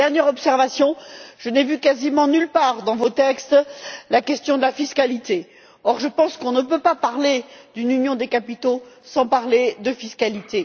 Enfin, une dernière observation, je n'ai vu quasiment nulle part, dans vos textes, la question de la fiscalité. Or, je pense qu'on ne peut pas parler d'une union des capitaux sans parler de fiscalité.